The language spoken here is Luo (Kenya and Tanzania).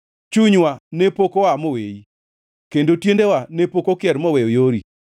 Chunywa ne pok oa moweyi; kendo tiendewa ne pok okier moweyo yori.